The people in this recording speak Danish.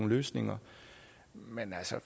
løsninger men